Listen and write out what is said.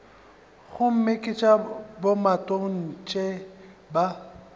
gomme ke tša bomatontshe ba